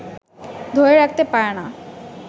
ধরে রাখতে পারে না